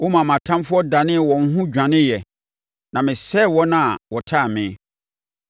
Womaa mʼatamfoɔ danee wɔn ho dwaneeɛ, na mesɛe wɔn a wɔtan me.